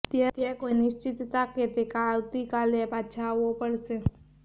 ત્યાં કોઈ નિશ્ચિતતા કે તે આવતી કાલે પાછા આવો પડશે